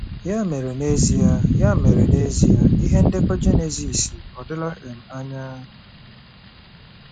Ya mere, n'ezie Ya mere, n'ezie, ihe ndekọ Jenesis ọ̀ dịla um anya?